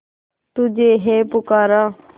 तुझे है पुकारा